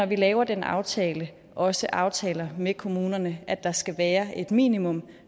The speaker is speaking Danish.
vi laver den aftale skal også aftale med kommunerne at der skal være et minimum